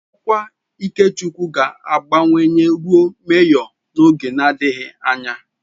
Ọkwa Ikechukwu ga-abawanye ruo Mejọ n'oge adịghị anya.